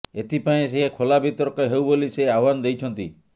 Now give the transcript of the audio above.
ଏଥିପାଇଁ ସେ ଖୋଲା ବିତର୍କ ହେଉ ବୋଲି ସେ ଆହ୍ୱାନ ଦେଇଛନ୍ତି